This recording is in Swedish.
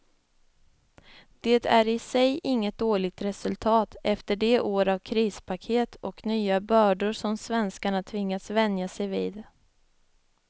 Det är i sig inget dåligt resultat efter de år av krispaket och nya bördor som svenskarna tvingats vänja sig vid.